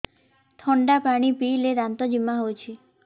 ଥଣ୍ଡା ପାଣି ପିଇଲେ ଦାନ୍ତ ଜିମା ହଉଚି